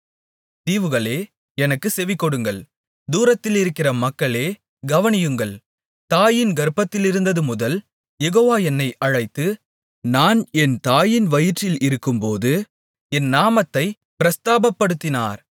தீவுகளே எனக்குச் செவிகொடுங்கள் தூரத்திலிருக்கிற மக்களே கவனியுங்கள் தாயின் கர்ப்பத்திலிருந்ததுமுதல் யெகோவா என்னை அழைத்து நான் என் தாயின் வயிற்றில் இருக்கும்போது என் நாமத்தைப் பிரஸ்தாபப்படுத்தினார்